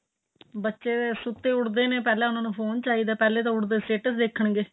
ਬੱਚੇ ਸੁੱਤੇ ਉੱਠਦੇ ਨੇ ਪਹਿਲਾਂ ਉਹਨਾ ਨੂੰ ਫੋਨ ਚਾਹੀਦਾ ਏ ਪਹਿਲੇ ਤਾਂ ਉੱਠਦੇ status ਦੇਖਣ ਗਏ